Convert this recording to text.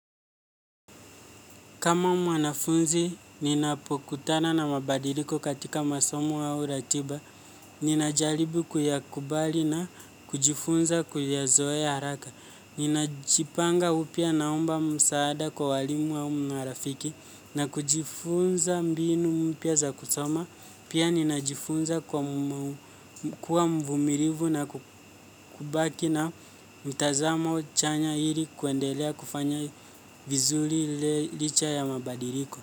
Kama mwanafunzi, ninapokutana na mabadiliko katika masomo au ratiba, ninajaribu kuyakubali na kujifunza kuyazoea haraka. Ninajipanga upya naomba msaada kwa walimu au marafiki na kujifunza mbinu mpya za kusoma. Pia ninajifunza kuwa mvumilivu na kubaki na mtazamo chanya ili kuendelea kufanya vizuri licha ya mabadiliko.